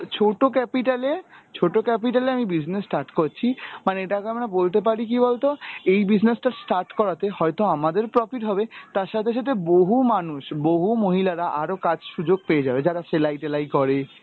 ছোট capital এ ছোট capital এ আমি business start করছি, মানে এটাকে আমরা বলতে পারি কি বলতো এই business টা start করাতে হয়তো আমাদের profit হবে তার সাথে সাথে বহু মানুষ বহু মহিলারা আরো কাজ সুযোগ পেয়ে যাবে যারা সেলাই টেলাই করে